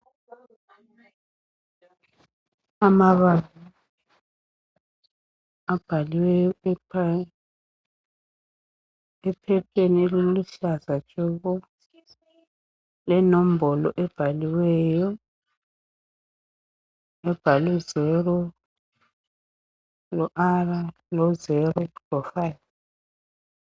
amabala abhalwe ephapheni eliluhlaza tshoko lenombolo ebhaliweyo ebhalwe 0R05